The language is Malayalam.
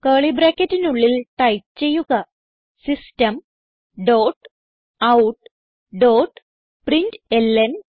കർലി ബ്രാക്കറ്റിനുള്ളിൽ ടൈപ്പ് ചെയ്യുക system dot out dot println